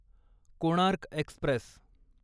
Konark Express